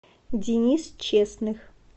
денис честных